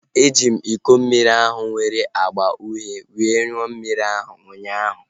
E ji m iko mmiri ahu nwere agba uhie were ṅụọ mmiri ụnyaahụ